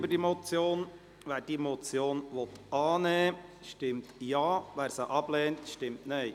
Wer die Motion annimmt, stimmt Ja, wer diese ablehnt, stimmt Nein.